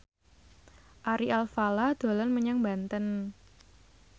Ari Alfalah dolan menyang Banten